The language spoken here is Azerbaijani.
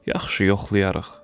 Yaxşı, yoxlayarıq.